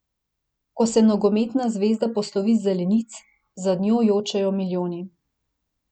Ko se nogometna zvezda poslovi z zelenic, za njo jočejo milijoni.